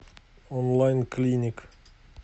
он лайн клиник